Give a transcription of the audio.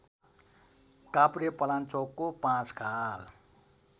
काभ्रेपलाञ्चोकको Panchkhal